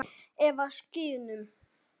Eða á skíðum.